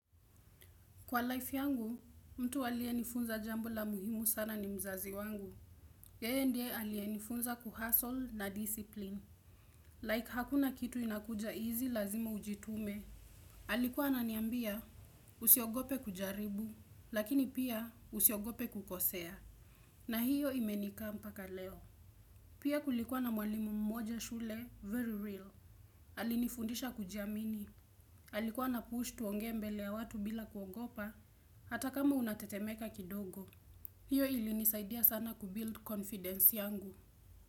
Kwa life yangu, mtu aliyenifunza jambo la muhimu sana ni mzazi wangu. Yeye ndiye aliyenifunza kuhustle na discipline. Like hakuna kitu inakuja easy lazima ujitume. Alikuwa ananiambia usiogope kujaribu, lakini pia usiogope kukosea. Na hiyo imenika mpaka leo. Pia kulikuwa na mwalimu mmoja shule, very real. Alinifundisha kujiamini. Alikuwa anapush tuongee mbele ya watu bila kuogopa. Hata kama unatetemeka kidogo. Hiyo ilinisaidia sana kubuild confidence yangu.